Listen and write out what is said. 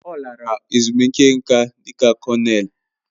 Ọ lara ezumike nká dị ka kọnel.